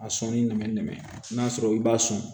A sɔnni nɛmɛnna n'a sɔrɔ i b'a sɔn